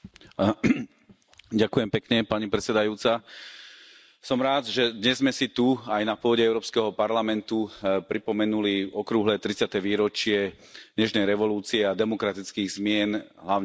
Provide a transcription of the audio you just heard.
Pani predsedajúca, som rád, že dnes sme si tu, aj na pôde Európskeho parlamentu, pripomenuli okrúhle tridsiate výročie Nežnej revolúcie a demokratických zmien hlavne v strednej Európe.